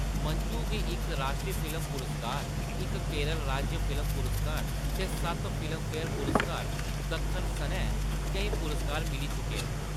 मंजू गी इक राश्ट्री फिल्म पुरस्कार, इक केरल राज्य फिल्म पुरस्कार ते सत्त फिल्मफेयर पुरस्कार दक्खन सनै केईं पुरस्कार मिली चुके न।